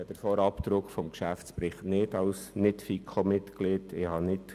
Ich habe den Vorabdruck des Geschäftsberichts als NichtFiKo-Mitglied nicht.